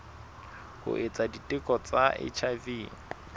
ho etsa diteko tsa hiv